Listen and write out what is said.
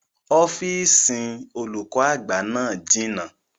Ọ́fìsìn olùkọ́ àgbà náà jìnà